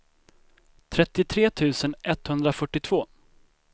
trettiotre tusen etthundrafyrtiotvå